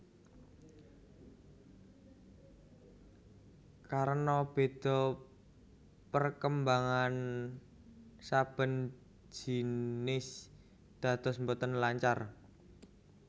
Karena béda perkembangan saben jinis dados boten lancar